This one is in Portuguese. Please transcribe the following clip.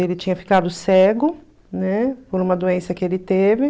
Ele tinha ficado cego, né, por uma doença que ele teve.